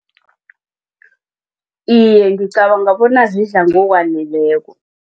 Iye, ngicabanga bona zidla ngokwaneleko.